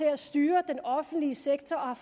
at styre den offentlige sektor